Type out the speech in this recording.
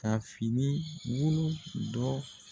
Ka finibolo dɔ